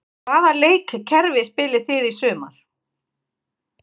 Hvaða leikkerfi spilið þið í sumar?